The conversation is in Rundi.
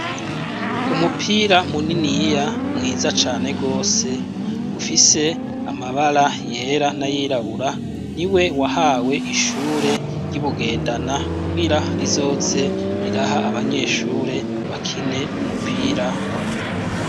Umupira muniniya mwiza cane gose , ufise amabara yera nayirabura, niwe wahawe ishure ry'iBugendana kugira rizoze riraha abanyeshure bakine umupira w'amaguru.